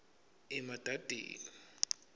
emadadeni